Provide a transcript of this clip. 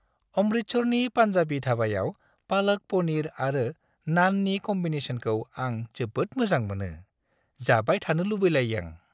अमृतसरनि पान्जाबी धाबायाव पालक पनीर आरो नाननि कम्बिनेस'नखौ आं जोबोद मोजां मोनो, जाबाय थानो लुबैलायो आं।